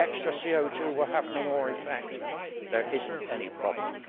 Extra CO 2 will have no more effect. There is no problem.